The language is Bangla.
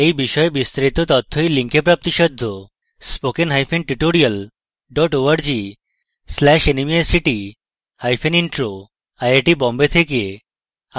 এই বিষয় বিস্তারিত তথ্য এই লিঙ্কএ পাওয়া যাবে spoken hyphen tutorial dot org slash nmeict hyphen intro